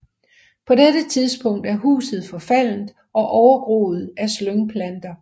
På dette tidspunkt er huset forfaldent og overgroet af slyngplanter